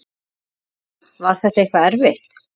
Hugrún: Var þetta eitthvað erfitt?